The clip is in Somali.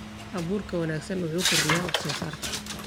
Abuurka wanaagsan wuxuu kordhiyaa wax-soo-saarka.